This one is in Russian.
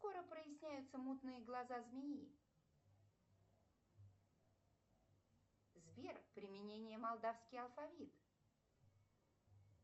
скоро проясняются мутные глаза змеи сбер применение молдавский алфавит